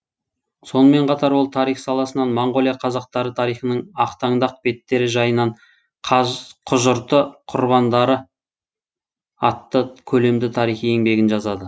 сонымен қатар ол тарих саласынан моңғолия қазақтары тарихының ақтаңдақ беттері жайынан құжырты құрбандары атты көлемді тарихи еңбегін жазады